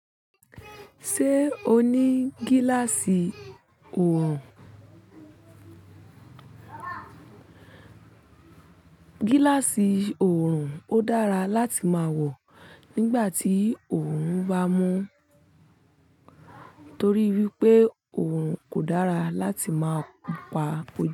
Ṣé o ní gíláàsì oòrùn? Gíláàsì oòrùn ó dára láti máa wọ̀ nígbà tí oòrùn bá mú torí wípé oòrùn kò dára láti máa pa oju.